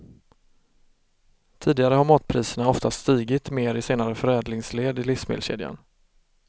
Tidigare har matpriserna oftast stigit mer i senare förädlingsled i livsmedelskedjan.